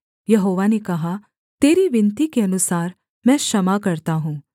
यहोवा ने कहा तेरी विनती के अनुसार मैं क्षमा करता हूँ